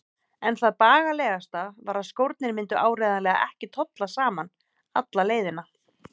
En það bagalegasta var að skórnir myndu áreiðanlega ekki tolla saman alla leiðina.